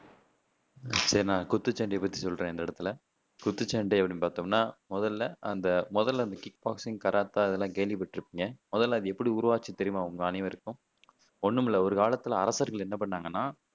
சரி நான் குத்துச்சண்டைய பத்தி சொல்றேன் இந்த இடத்துல குத்துச்சண்டை அப்படின்னு பாத்தோம்னா முதல்ல அந்த முதல்ல அந்த கிக் பாக்ஸிங், கராத்தே அதேல்லாம் கேள்விப்பட்டு இருப்பீங்க முதல்ல அது எப்படி உருவாச்சுன்னு தெரியுமா உங்க அனைவருக்கும் ஒண்ணுமில்லை ஒரு காலத்துல அரசர்கள் என்ன பண்ணாங்கன்னா